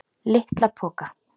LITLA POKA!